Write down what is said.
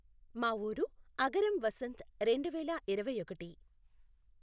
మా ఊరు అగరం వసంత్ రెండు వేల ఇరవై ఒకటి